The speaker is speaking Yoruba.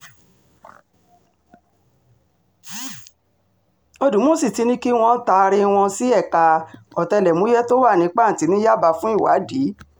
ọ̀dùmọ̀ṣù ti ní kí wọ́n taari wọn sí ẹ̀ka ọ̀tẹlẹ̀múyẹ́ tó wà ní pàǹtì ní yábà fún ìwádìí